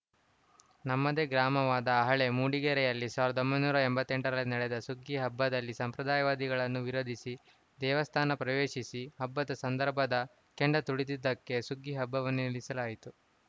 ನಮ್ಮದೇ ಗ್ರಾಮವಾದ ಹಳೇ ಮೂಡಿಗೆರೆಯಲ್ಲಿ ಸಾವಿರದ ಒಂಬೈನೂರ ಎಂಬತ್ತ್ ಎಂಟರಲ್ಲಿ ನಡೆದ ಸುಗ್ಗಿ ಹಬ್ಬದಲ್ಲಿ ಸಂಪ್ರದಾಯವಾದಿಗಳನ್ನು ವಿರೋಧಿಸಿ ದೇವಸ್ಥಾನ ಪ್ರವೇಶಿಸಿ ಹಬ್ಬದ ಸಂದರ್ಭದ ಕೆಂಡ ತುಳಿದಿದ್ದಕ್ಕೆ ಸುಗ್ಗಿ ಹಬ್ಬವನ್ನೇ ನಿಲ್ಲಿಸಲಾಯಿತು